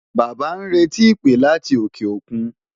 Bàbá ń retí ìpè láti òkè òkun.